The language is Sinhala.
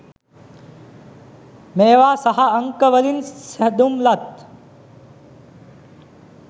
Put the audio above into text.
මේවා සහ අංක වලින් සැදුම්ලත්